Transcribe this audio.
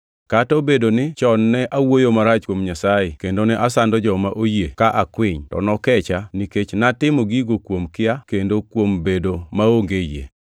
Kata obedo ni chon ne awuoyo marach kuom Nyasaye kendo ne asando joma oyie ka akwiny, to nokecha nikech natimo gigo kuom kia kendo kuom bedo maonge yie.